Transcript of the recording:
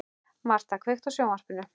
Martha, kveiktu á sjónvarpinu.